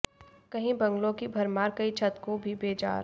कहीं बंगलों की भरमार कई छत को भी बेजार